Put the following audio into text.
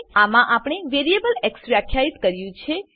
આમાં આપણે variable X વ્યાખ્યિત કર્યું છે